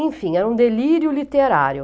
Enfim, era um delírio literário.